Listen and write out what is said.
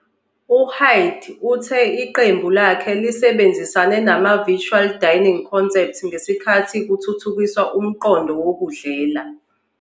U-Hyde uthe iqembu lakhe lisebenzisane nama-Virtual Dining Concepts ngesikhathi kuthuthukiswa umqondo wokudlela.